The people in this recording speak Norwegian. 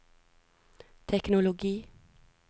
teknologi